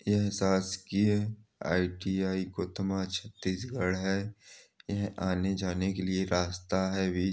यह शासकीय I. T. I. गोत्मा छत्तीसगढ़ हैं एह आने जाने के लिए रास्ता हैं वि--